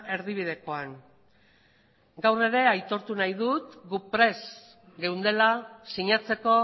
erdibidekoan gaur ere aitortu nahi dut gu prest geundela sinatzeko